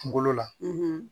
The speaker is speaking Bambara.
Kunkolo la